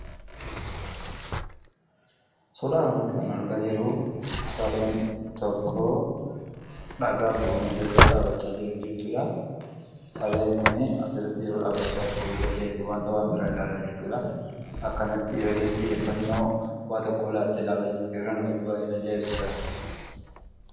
Suuraa kanarratti kan argaa jirru sareen tokko dhagaa buufamaa jirurra dhaabateera. Sareen kun asirratti yeroo dhaabbachaa jiru wanta fuuldurasaa jiru ilaalaa kan jirtudha. Yeroo isheen xiyyeeffannoo waan tokkoof laattee ilaalaa jirtu yeroon argu baay'een ajaa'ibsiifadha.